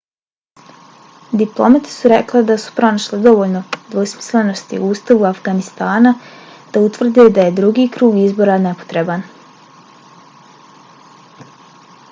diplomate su rekle da su pronašle dovoljno dvosmislenosti u ustavu afganistana da utvrde da je drugi krug izbora nepotreban